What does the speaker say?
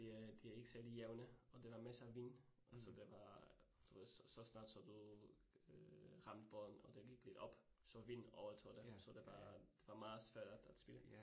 Ja de er ikke særligt jævne, og der er masser vind, og så det var du ved så så snart så du øh ramte bolden, og den gik lidt op, så vinden overtaget det, så det var det var meget svært at spille